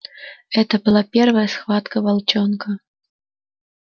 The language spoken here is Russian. это была первая схватка волчонка